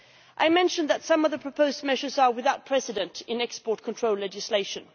I mentioned that some of the proposed measures are without precedent in export control legislation.